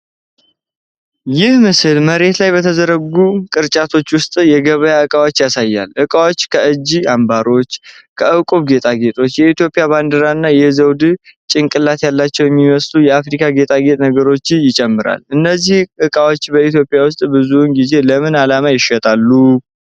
ይህ ምስል መሬት ላይ በተዘረጉ ቅርጫቶች ውስጥ የገበያ ዕቃዎችን ያሳያል። እቃዎች ከእጅ አምባሮች፣ ከዕንቁ ጌጣጌጥ፣ የኢትዮጵያ ባንዲራ እና የዘውድ ጭንቅላት ያላቸው የሚመስሉ የአፍሪካ ጌጣጌጥ ነገሮችን ይጨምራሉ፤ እነዚህ እቃዎች በኢትዮጵያ ውስጥ ብዙውን ጊዜ ለምን ዓላማ ይሸጣሉ?